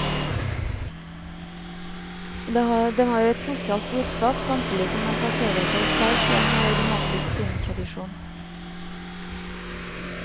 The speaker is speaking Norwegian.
Den har et sosialt budskap, samtidig som den plasserer seg sterkt i en romantisk filmtradisjon.